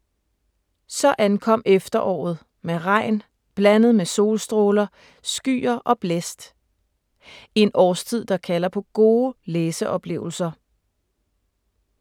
Så ankom efteråret med regn blandet med solstråler, skyer og blæst. En årstid, der kalder på gode læseoplevelser.